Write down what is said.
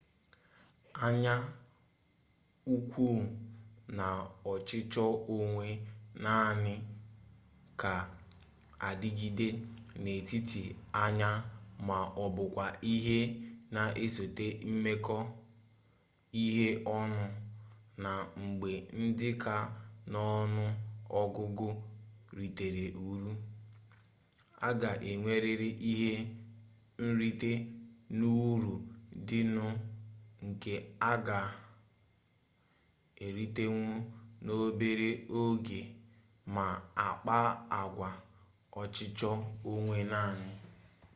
anya ukwu na ọchịchọ onwe naanị ga adịgide n'etiti anyị ma ọbụkwa ihe na-esote imekọ ihe ọnụ na mgbe ndị ka n'ọnụ ọgụgụ ritere uru a ga enwerịrị ihe nrite n'uru dị nụ nke a ga eritenwu n'obere oge ma akpaa agwa ọchịchọ onwe naanị